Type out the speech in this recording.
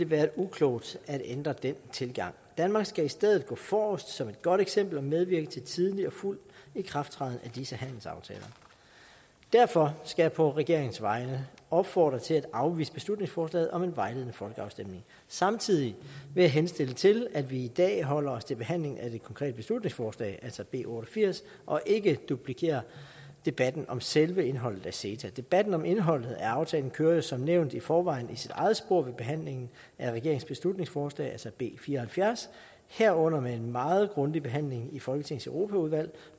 være uklogt at ændre den tilgang danmark skal i stedet gå forrest som et godt eksempel og medvirke til en tidlig og fuld ikrafttræden af disse handelsaftaler derfor skal jeg på regeringens vegne opfordre til at afvise beslutningsforslaget om en vejledende folkeafstemning samtidig vil jeg henstille til at vi i dag holder os til behandlingen af det konkrete beslutningsforslag altså b otte og firs og ikke duplikerer debatten om selve indholdet af ceta debatten om indholdet af aftalen kører jo som nævnt i forvejen i sit eget spor ved behandlingen af regeringens beslutningsforslag altså b fire og halvfjerds herunder med en meget grundig behandling i folketingets europaudvalg